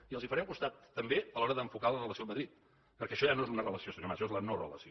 i els farem costat també a l’hora d’enfocar la relació amb madrid perquè això ja no és una relació senyor mas és la no relació